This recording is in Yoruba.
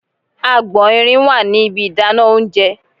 Agbọ̀n irin wà ní ibi ìdáná oúnjẹ.